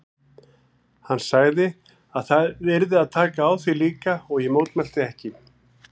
Hann sagði að það yrði að taka á því líka og ég mótmælti ekki.